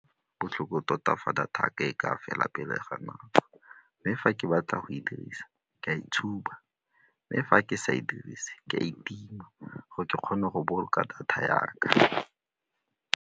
Botlhoko tota fa data ya ka e ka fela pele ga nako mme fa ke batla go e dirisa ke a itshuma mme fa ke sa e dirise ke a e tima gore ke kgone go boloka data ya ka.